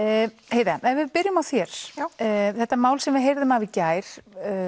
heiða ef við byrjum á þér þetta mál sem við heyrðum af í gær